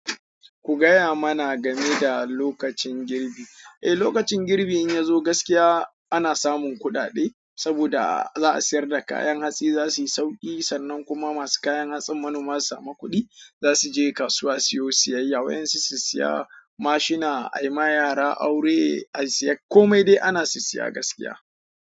Ku gaya mana game da lokacin girbi. Eh, lokacin girbi in ya zo gaskiya ana samun kuɗaɗe saboda za a siyar da kayan hatsi za su yi sauƙi sannan kuma masu kayan hatsin manoma suma makudi za su je kasuwa siyo siyayya. Wayen su siya mashina, ayi ma yara aure, ayi siyayya komai dai ana sissiyi gaskiya.